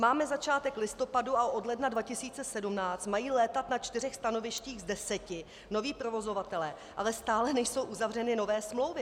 Máme začátek listopadu a od ledna 2017 mají létat na čtyřech stanovištích z deseti noví provozovatelé, ale stále nejsou uzavřeny nové smlouvy.